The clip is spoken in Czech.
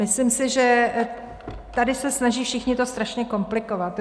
Myslím si, že tady se snaží všichni to strašně komplikovat.